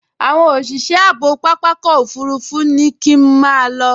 Àwọn òṣìṣẹ́ ààbò pápákọ̀ òfurufú ní kí n máa lọ